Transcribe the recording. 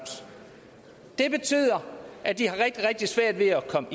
det betyder at de har rigtig rigtig svært ved at komme